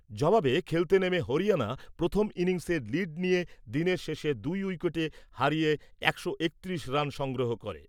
জবাবে খেলতে নেমে হরিয়ানা প্রথম ইনিংসে লিড নিয়ে দিনের শেষে দুই উইকেটে হারিয়ে একশো একত্রিশ রান সংগ্রহ করে ।